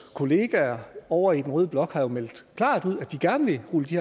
kollegaer ovre i den røde blok har jo meldt klart ud at de gerne vil rulle de